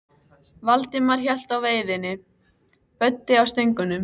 Valdimar hélt á veiðinni, Böddi á stöngunum.